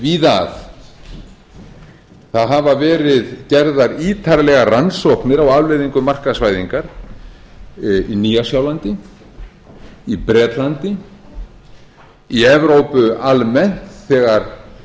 víða að það hafa verið gerðar ítarlegar rannsóknir á afleiðingum markaðsvæðingar í nýja sjálandi í bretlandi í evrópu almennt þegar